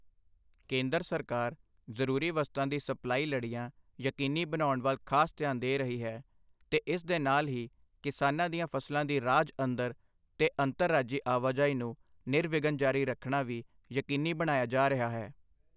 ਕੇਂਦਰ ਸਰਕਾਰ ਜ਼ਰੂਰੀ ਵਸਤਾਂ ਦੀ ਸਪਲਾਈ ਲੜੀਆਂ ਯਕੀਨੀ ਬਣਾਉਣ ਵੱਲ ਖਾਸ ਧਿਆਨ ਦੇ ਰਹੀ ਹੈ ਤੇ ਇਸ ਦੇ ਨਾਲ ਹੀ ਕਿਸਾਨਾਂ ਦੀਆਂ ਫ਼ਸਲਾਂ ਦੀ ਰਾਜ ਅੰਦਰ ਤੇ ਅੰਤਰ ਰਾਜੀ ਆਵਾਜਾਈ ਨੂੰ ਨਿਰਵਿਘਨ ਜਾਰੀ ਰੱਖਣਾ ਵੀ ਯਕੀਨੀ ਬਣਾਇਆ ਜਾ ਰਿਹਾ ਹੈ।